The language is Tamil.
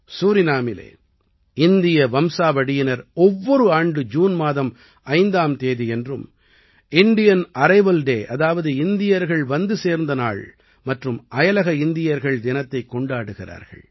சூரினாமிலே இந்திய வம்சாவழியினர் ஒவ்வொரு ஆண்டு ஜூன் மாதம் 5ஆம் தேதியன்றும் இண்டியன் அரைவல் டே அதாவது இந்தியர்கள் வந்து சேர்ந்த நாள் மற்றும் அயலக இந்தியர்கள் தினத்தைக் கொண்டாடுகிறார்கள்